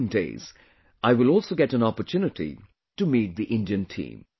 In the coming days, I will also get an opportunity to meet the Indian team